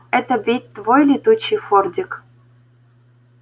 это ведь твой был летучий фордик